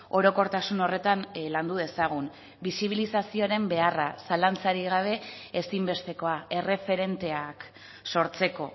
orokortasun horretan landu dezagun bisibilizazioaren beharra zalantzarik gabe ezinbestekoa erreferenteak sortzeko